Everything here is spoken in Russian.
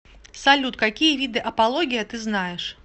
салют какие виды апология ты знаешь